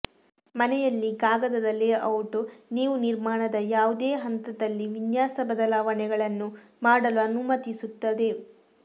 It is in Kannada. ಮನೆಯಲ್ಲಿ ಕಾಗದದ ಲೇಔಟ್ ನೀವು ನಿರ್ಮಾಣದ ಯಾವುದೇ ಹಂತದಲ್ಲಿ ವಿನ್ಯಾಸ ಬದಲಾವಣೆಗಳನ್ನು ಮಾಡಲು ಅನುಮತಿಸುತ್ತದೆ